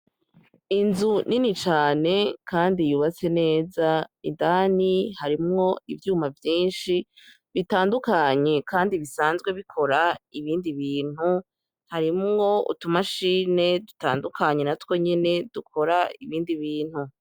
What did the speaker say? Inzu ni ni cane, kandi yubase neza indani harimwo ivyuma vyinshi bitandukanyi, kandi bisanzwe bikora ibindi bintu harimwo utumashine dutandukanye na two nyine dukora ibindi bintu.